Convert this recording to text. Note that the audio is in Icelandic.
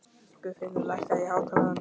Guðfinnur, lækkaðu í hátalaranum.